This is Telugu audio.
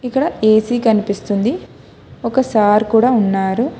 ఇక్కడ ఏ_సీ కనిపిస్తుంది ఒక సార్ కూడా ఉన్నారు.